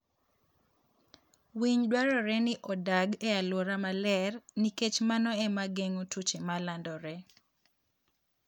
Winy dwarore ni odag e alwora maler nikech mano ema geng'o tuoche ma landore.